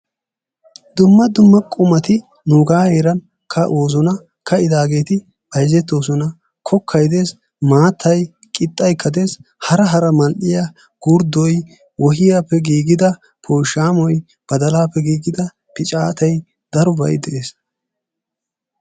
d qumati nuuga heeran ka'oosona, kaa'idageeti bayzzettoosona. kokkay des, maattay, qixxaykka des, hara hara mal''iyaa gurddoy, wohiyappe giigida pooshammoy, badalappe giigida piccatay darobay de'ees.